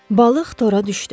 Balıq tora düşdü.